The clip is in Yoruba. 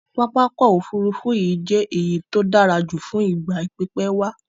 Pápákọ̀ òfurufú yìí je èyí to dárajù fún ìgbà pípé wá